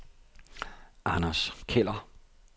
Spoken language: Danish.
Anders Keller